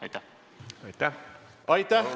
Aitäh!